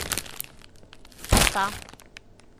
оса